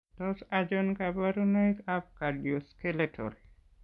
Tos achon kabarunaik ab Cardioskeletal